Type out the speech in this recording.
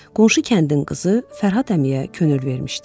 Qonşu kəndin qızı Fərhad əmiyə könül vermişdi.